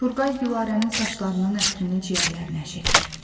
Turqay Gülarənin saçlarının ətrini ciyərlərinə çəkir.